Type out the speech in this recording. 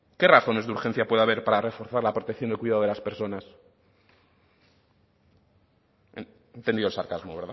qué razones de urgencia puede haber para reforzar la protección y el cuidado de las personas ha entendido el sarcasmo